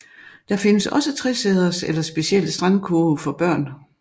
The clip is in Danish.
Der findes også tresæders eller specielle strandkurve for børn